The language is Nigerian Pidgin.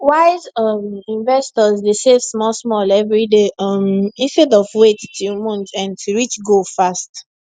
wise um investors dey save small small every day um instead of wait till month end to reach goal fast